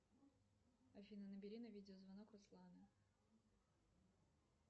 афина набери на видеозвонок руслана